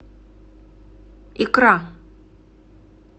икра